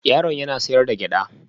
Yaron yana sayar da gyada